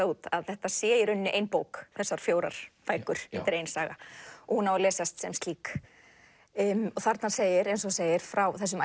út að þetta sé í rauninni ein bók þessar fjórar bækur ein saga og á að lesast sem slík þarna segir eins og þú segir frá þessum